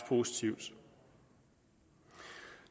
positivt